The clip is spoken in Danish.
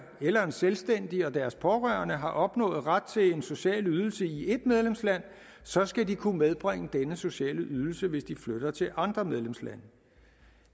eller en selvstændig og deres pårørende har opnået ret til en social ydelse i et medlemsland så skal de kunne medbringe denne sociale ydelse hvis de flytter til andre medlemslande